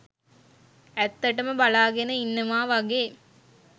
ඇත්තටම බලාගෙන ඉන්නවා වගේ